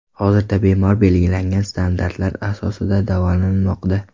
Hozirda bemor belgilangan standartlar asosida davolanmoqda.